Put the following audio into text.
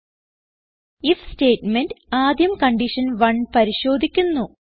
if statement ആദ്യം condition 1 പരിശോധിക്കുന്നു